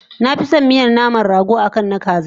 Nafison miyan naman rago akan na kaza